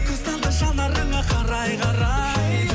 көз талды жанарыңа қарай қарай